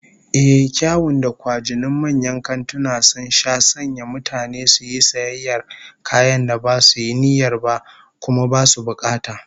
Ehh, kyawun da kwajinin manyan kantuna sun sha sanya mutane su yi sayayyar kayan da basu yi niyyar ba, kuma basu bukata